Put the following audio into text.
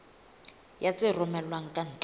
ya tse romellwang ka ntle